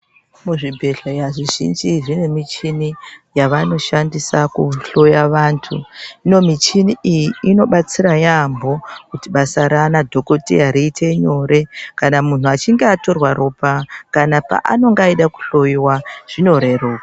Kuzvibhedhleya zvizhinji zvinemichini yavanoshandisa kuhloya vanthu hino michini iyi inobatsira yambho kuti basa rana dhokodheya riite nyore kana munhu achinge atorwa ropa kana paanenge achida kuhloyiwa zvinoreruka.